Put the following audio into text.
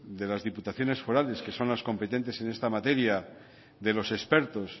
de las diputaciones forales que son las competentes en esta materia de los expertos